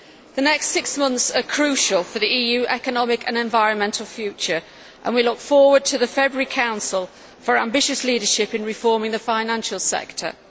The next six months are crucial for the EU's economic and environmental future, and we look forward to the February Council for ambitious leadership in reforming the financial sector.